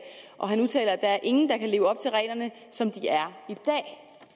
og han udtaler at der er ingen der kan leve op til reglerne som de er